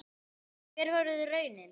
Hver verður raunin?